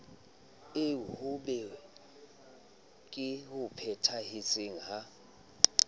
eo hothweng ke hopahete ha